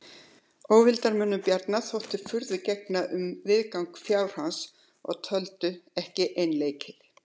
Óvildarmönnum Bjarnar þótti furðu gegna um viðgang fjár hans og töldu ekki einleikið.